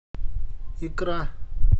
икра